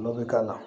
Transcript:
N'o bɛ k'a la